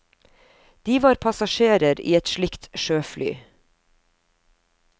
De var passasjerer i et slikt sjøfly.